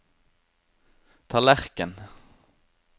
tallerken